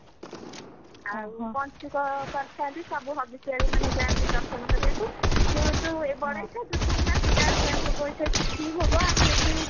ଆଉ ପଞ୍ଚୁକ କରିଥାନ୍ତି ସବୁ ହବିଷିଆଳି ମାନେ ଯାଆନ୍ତି ଦର୍ଶନ କରିବାକୁ ସେଇଠୁ ଚୂଡା ଘଷା ଭୋଗ ହେଇଥାଏ ଶୁଖିଲି ଭୋଗ ଆମ ଏଠି